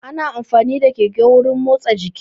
Ana amfani da keke wurin motsa jiki